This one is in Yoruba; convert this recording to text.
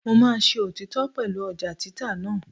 Mo máa ṣe òtítọ́ pẹ̀lú ọjà títà náà.